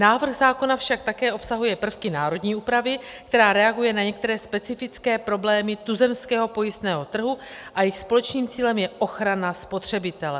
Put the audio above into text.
Návrh zákona však také obsahuje prvky národní úpravy, která reaguje na některé specifické problémy tuzemského pojistného trhu, a jejich společným cílem je ochrana spotřebitele.